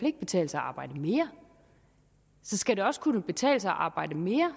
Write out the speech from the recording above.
ikke betale sig at arbejde mere så skal det også kunne betale sig at arbejde mere